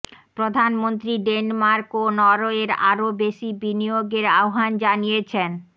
প্রধানমন্ত্রী ডেনমার্ক ও নরওয়ের আরো বেশি বিনিয়োগের আহ্বান জানিয়েছেন